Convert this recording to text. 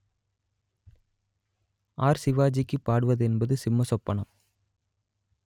R சிவாஜிக்கு பாடுவது என்பது சிம்மச் சொப்பனம்